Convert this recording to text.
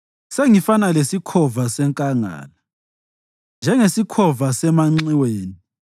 Sengifana lesikhova senkangala, njengesikhova semanxiweni.